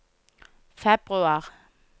februar